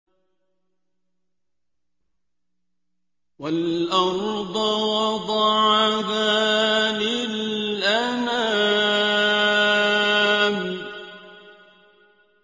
وَالْأَرْضَ وَضَعَهَا لِلْأَنَامِ